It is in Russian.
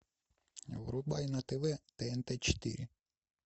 врубай на тв тнт четыре